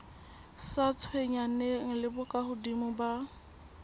sa tshwenyaneng le bokahodimo ba